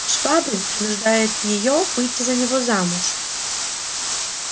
швабрин принуждает её выйти за него замуж